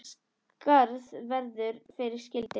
Skarð verður fyrir skildi.